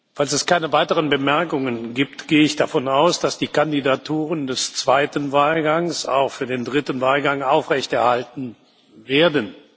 Falls es keine weiteren Bemerkungen gibt, gehe ich davon aus, dass die Kandidaturen des zweiten Wahlganges auch für den dritten Wahlgang aufrechterhalten werden.